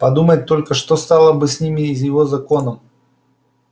подумать только что стало бы с ним и с его законом